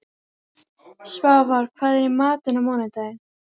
Svafar, hvað er í matinn á mánudaginn?